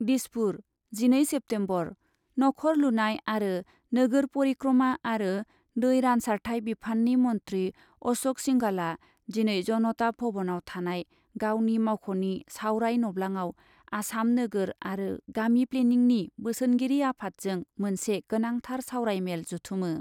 दिसपुर, जिनै सेप्तेम्बर, नखर लुनाय आरो नोगोर परिक्रमा आरो दै रानसारथाय बिफाननि मन्थ्रि अश'क सिंहालआ दिनै जनता भवनाव थानाय गावनि मावख'नि सावराय नब्लाङाव आसाम नोगोर आरो गामि प्लेनिंनि बोसोनगिरि आफादजों मोनसे गोनांथार सावराय मेल जथुमो।